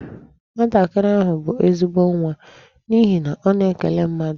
Nwatakịrị ahụ bụ ezigbo nwa n'ihi na ọ na-ekele mmadụ.